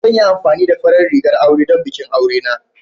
Zan yi amfani da farar rigar aure don bikin aure na.